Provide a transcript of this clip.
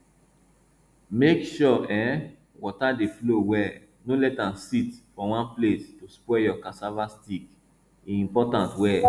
make sure um water dey flow well no let am sit for one place to spoil your cassava stick e important well